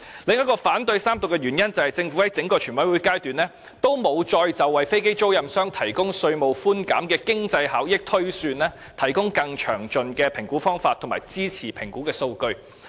我反對三讀的另一個原因，是政府在整個全委會審議階段再沒有就為飛機租賃商提供稅務寬減的經濟效益推算，提供更詳盡的評估方法及支持評估的數據。